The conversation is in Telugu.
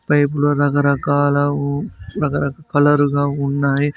పైప్ లు రకరకాల ఊ రకరకా కలర్ గా ఉన్నాయి.